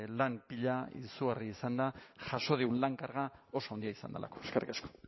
lan pila izugarria izan da jaso dugun lan karga oso handia izan delako eskerrik asko